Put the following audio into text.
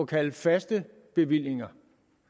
kalde faste bevillinger